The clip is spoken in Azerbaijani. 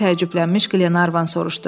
deyə təəccüblənmiş Glenarvan soruşdu.